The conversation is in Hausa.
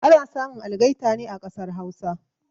Ana samun algaita ne a kasar Hausa